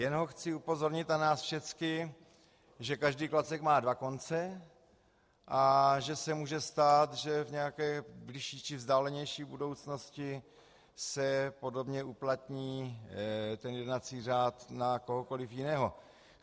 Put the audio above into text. Jen ho chci upozornit za nás všechny, že každý klacek má dva konce a že se může stát, že v nějaké bližší či vzdálenější budoucnosti se podobně uplatní ten jednací řád na kohokoliv jiného.